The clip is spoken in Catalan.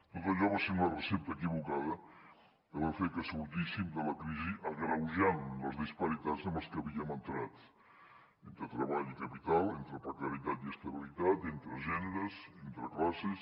tot allò va ser una recepta equivocada que va fer que sortíssim de la crisi agreujant les disparitats amb les que hi havíem entrat entre treball i capital entre precarietat i estabilitat entre gèneres entre classes